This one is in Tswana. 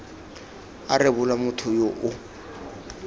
a rebolwa motho yo o